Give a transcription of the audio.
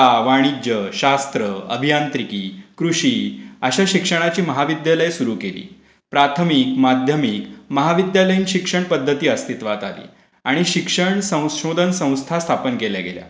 कला, वाणिज्य, शास्त्र, अभियांत्रिकी, कृषि अशी उच्च शिक्षणाची महाविद्यालय सुरू केली. प्राथमिक, माध्यमिक, महाविद्यालयीन शिक्षण पध्दती अस्तीत्वात आली आणि शिक्षण संशोधन संस्था स्थापन केल्या गेल्या.